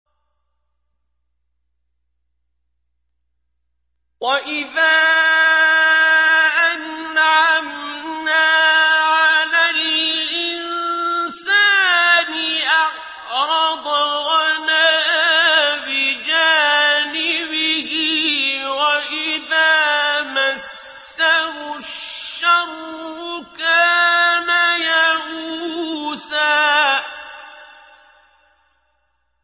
وَإِذَا أَنْعَمْنَا عَلَى الْإِنسَانِ أَعْرَضَ وَنَأَىٰ بِجَانِبِهِ ۖ وَإِذَا مَسَّهُ الشَّرُّ كَانَ يَئُوسًا